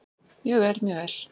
Mjög vel, mjög vel.